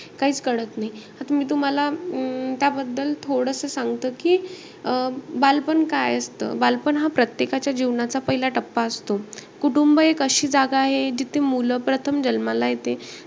काहीच कळत नाही. आता मी तुम्हाला अं त्याबद्दल थोडं सांगते की बालपण काय असतं. बालपण हा प्रत्येकाच्या जीवनाचा पहिला टप्पा असतो. कुटुंब एक अशी जागा आहे जिथे मुलं प्रथम जन्माला येते.